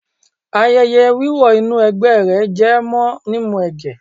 Ayẹyẹ wíwọ inú ẹ̀gbẹ́ rẹ̀ jẹ mọ́ mímu ẹ̀jẹ̀.